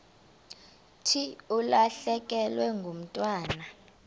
thi ulahlekelwe ngumntwana